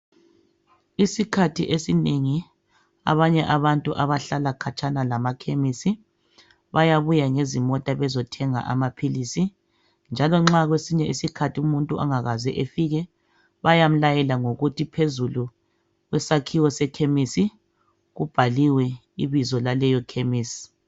Isikhathi esinengi abanye abantu abahlala khatshana lamakhemisi bayabuya ngezimota bezothenga amaphilisi njalo nxa kwesinye isikhathi umuntu angakaze efike bayamlayela ngokuthi phezulu kusakhiwo sekhemisi kubhaliwe ibizo laleyo khemisi.